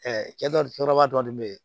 kɔrɔba dɔɔnin bɛ yen